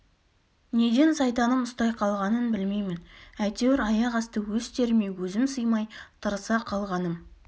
неден сайтаным ұстай қалғанын білмеймін әйтеуір аяқ асты өз теріме өзім сыймай тырыса қалғаным